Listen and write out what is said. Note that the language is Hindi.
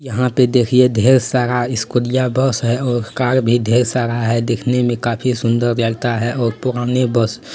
यहाँ पे देखिये ढ़ेर सारा स्कूलीया बस है और कार भी ढ़ेर सारा है देखने में काफी सुंदर लगता है और पुरानी बस --